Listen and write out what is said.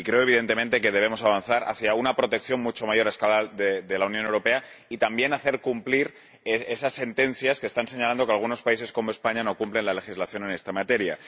Creo, evidentemente, que debemos avanzar hacia una protección mucho mayor a escala de la Unión Europea y también hacer cumplir esas sentencias en las que se señala que algunos países, como España, no cumplen la legislación en esta materia.